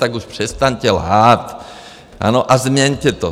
Tak už přestaňte lhát, ano, a změňte to.